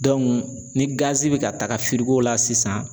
ni bi ka taga la sisan